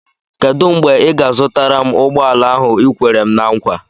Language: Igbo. Kedụ mgbe ị ga-azụtara m ụgbọala ahụ i kwere m ná nkwa?